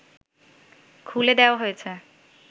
খুলে দেয়া হয়েছে